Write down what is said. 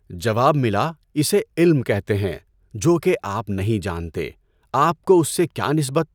جواب ملا اسے علم کہتے ہیں، جو کہ آپ نہیں جانتے۔ آپ کو اس سے کیا نسبت؟